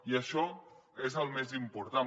i això és el més important